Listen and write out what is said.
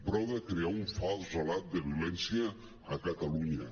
prou de crear un fals relat de violència a catalunya